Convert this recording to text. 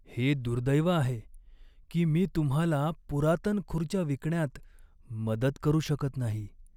हे दुर्दैव आहे की मी तुम्हाला पुरातन खुर्च्या विकण्यात मदत करू शकत नाही.